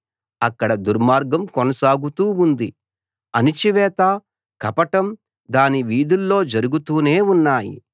అక్కడ దుర్మార్గం కొనసాగుతూ ఉంది అణచివేత కపటం దాని వీధుల్లో జరుగుతూనే ఉన్నాయి